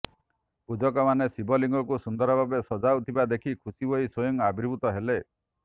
ପୂଜକମାନେ ଶିବ ଲିଙ୍ଗକୁ ସୁନ୍ଦର ଭାବେ ସଜାଉଥିବା ଦେଖି ଖୁସି ହୋଇ ସ୍ୱୟଂ ଆବିର୍ଭୁତ ହେଲେ